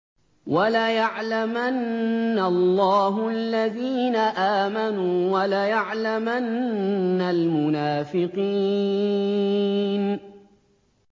وَلَيَعْلَمَنَّ اللَّهُ الَّذِينَ آمَنُوا وَلَيَعْلَمَنَّ الْمُنَافِقِينَ